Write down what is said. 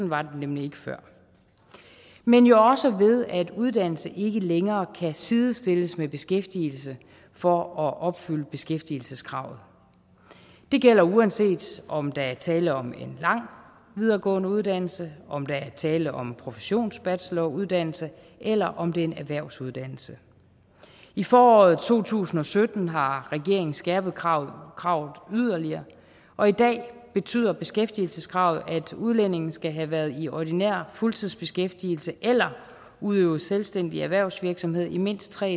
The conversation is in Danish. var det nemlig ikke før men jo også ved at uddannelse ikke længere kan sidestilles med beskæftigelse for at opfylde beskæftigelseskravet det gælder uanset om der er tale om en lang videregående uddannelse om der er tale om en professionsbacheloruddannelse eller om det er en erhvervsuddannelse i foråret to tusind og sytten har regeringen skærpet kravet kravet yderligere og i dag betyder beskæftigelseskravet at udlændinge skal have været i ordinær fuldtidsbeskæftigelse eller udøvet selvstændig erhvervsvirksomhed i mindst tre